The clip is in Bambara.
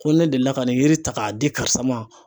Ko ne deli la ka nin yiri ta k'a di karisa ma